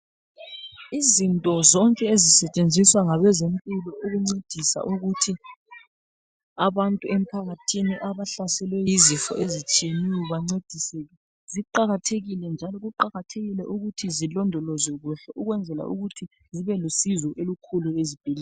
Izinto zonke ezisetshenziswa ngabezempilakahle ziyancedisa ukuthi abantu emphakathini abahlaselwe yizifo ezitshiyeneyo bancediseke ziqakathekile njalo kuqakathekile ukuthi zilondolzwekule ukwenzela ukuthi zibelusizo olukhulu ezibhedlela.